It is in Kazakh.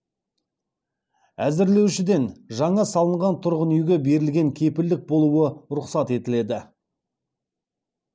әзірлеушіден жаңа салынған тұрғын үйге берілген кепілдік болуы рұқсат етіледі